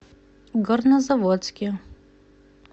горнозаводске